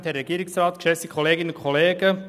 Kommissionssprecher der FiKo.